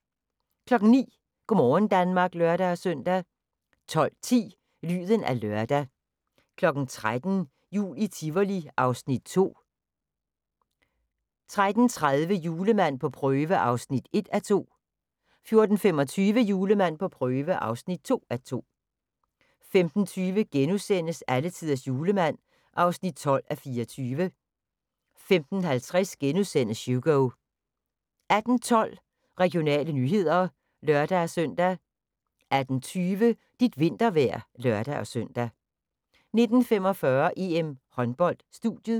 09:00: Go' morgen Danmark (lør-søn) 12:10: Lyden af lørdag 13:00: Jul i Tivoli (Afs. 2) 13:30: Julemand på prøve (1:2) 14:25: Julemand på prøve (2:2) 15:20: Alletiders Julemand (12:24)* 15:50: Hugo * 18:12: Regionale nyheder (lør-søn) 18:20: Dit vintervejr (lør-søn) 19:45: EM-håndbold: Studiet